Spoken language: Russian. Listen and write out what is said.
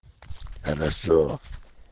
хорошо